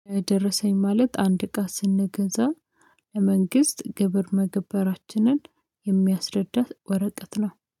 ደረሰኝ ማለት አንድ እቃ ስንገዛ። ለመንግስት ግብር መግባራችንን የሚያስረዳት ወረቀት ነው